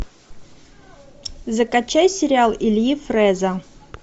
закачай сериал ильи фрэза